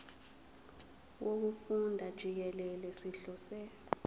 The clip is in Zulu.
wokufunda jikelele sihlose